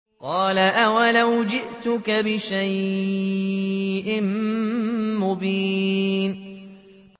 قَالَ أَوَلَوْ جِئْتُكَ بِشَيْءٍ مُّبِينٍ